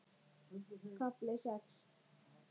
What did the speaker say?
KAFLI SEX